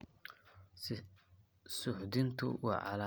Suuxdintu waa calaamadaha ugu badan.